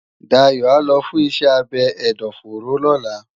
Dapo á lò fùn iṣè ábé ẹdọfóró lòlá